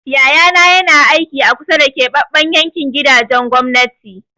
Yayana na aiki a kusa da keɓaɓɓen yankin gidajen gwamnati.